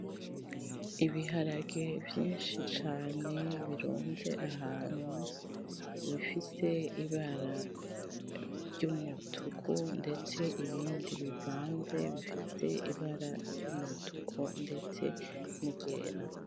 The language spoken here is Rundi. Ibiharage vyinshi cane Birunze ahantu bifise ibara ryumutuku ndetse ibindi bivanze bifise ibara ryumutuku ndetse niryera .